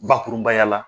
Bakurunbaya la